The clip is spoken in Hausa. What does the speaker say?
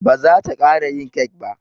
Ba zata ƙara yin kek ba.